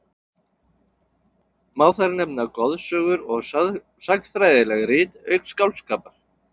Má þar nefna goðsögur og sagnfræðileg rit, auk skáldskapar.